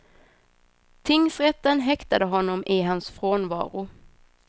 Tingsrätten häktade honom i hans frånvaro.